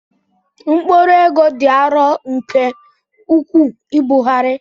Mkpụrụ ego dị arọ nke ukwuu ibugharị.